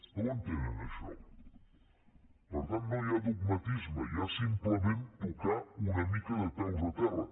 no ho entenen això per tant no hi ha dogmatisme hi ha simplement tocar una mica de peus a terra